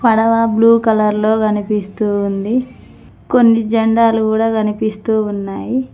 పడవ blue colour లో కనిపిస్తూ ఉంది కొన్ని జెండాలు కూడా కనిపిస్తూ ఉన్నాయి.